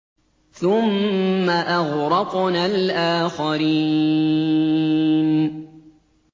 ثُمَّ أَغْرَقْنَا الْآخَرِينَ